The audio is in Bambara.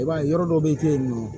I b'a ye yɔrɔ dɔ bɛ kɛ yen nɔ